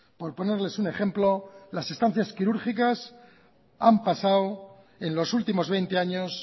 por ponerles un ejemplo las estancias quirúrgicas han pasado en los últimos veinte años